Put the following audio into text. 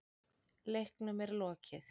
Leiknum er lokið